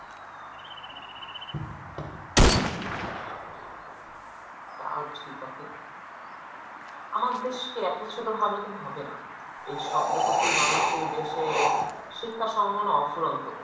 তাও ঠিক আপু, আমাদের দেশকে এত ছোট ভাবলে কিন্তু হবে না। এই সতেরো কোটি মানুষের এই দেশে শিক্ষার সম্ভবনা অফুরন্ত।